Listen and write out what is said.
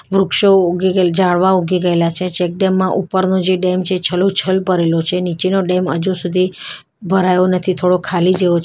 વૃક્ષો ઉગી ગયેલ ઝાડવાં ઉગી ગયેલા છે ચેકડેમ માં ઉપરનો જે ડેમ છે છલોછલ ભરેલો છે નીચેનો ડેમ અજુ સુધી ભરાયો નથી થોડો ખાલી જેવો છે --